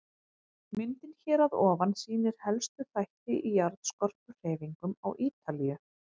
Myndin hér að ofan sýnir helstu þætti í jarðskorpuhreyfingum á Ítalíu.